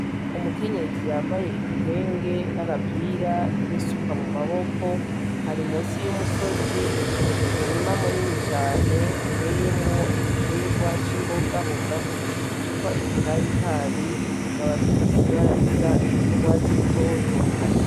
Umukenyezi yambaye igitenge n'agapira n'isuka mu maboko, ari musi y'umusozi mu murima munini cane uteyemwo igiterwa c'imbogaboga citwa umutabitabi kikaba gifise ibara risa n'ugwatsi rutoto.